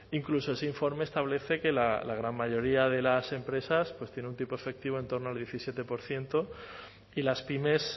incluso ese informe establece que la gran mayoría de las empresas tienen un tipo efectivo en torno al diecisiete por ciento y las pymes